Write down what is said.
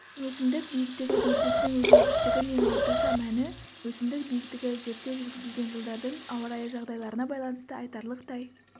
өсімдік биіктігі белгісінің өзгергіштігі мен орташа мәні өсімдік биіктігі зерттеу жүргізілген жылдардың ауа райы жағдайларына байланысты айтарлықтай